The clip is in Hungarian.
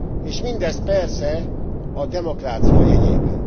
És mindez persze a demokrácia jegyében.